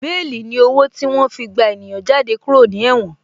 Béèlì ni owó tí wọ́n fi gba ènìyàn jáde kúrò ní Ẹ̀wòn